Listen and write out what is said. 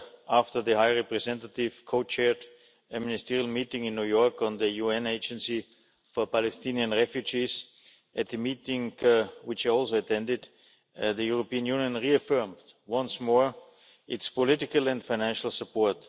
after the High Representative co chaired a ministerial meeting in New York on the UN Agency for Palestinian Refugees. At the meeting, which I also attended, the European Union reaffirmed once more its political and financial support.